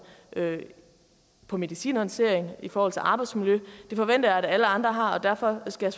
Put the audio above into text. med medicinhåndteringen og i forhold til arbejdsmiljøet det forventer jeg at alle andre har og derfor skal